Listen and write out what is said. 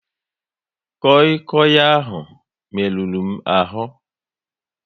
Koi Koi ahụ merụrụ m ahu